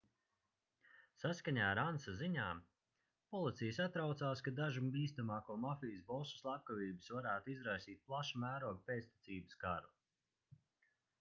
saskaņā ar ansa ziņām policija satraucās ka dažu bīstamāko mafijas bosu slepkavības varētu izraisīt plaša mēroga pēctecības karu